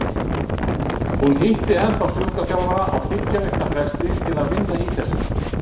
Hún hitti ennþá sjúkraþjálfara á þriggja vikna fresti til að vinna í þessu.